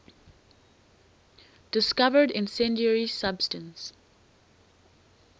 discovered incendiary substance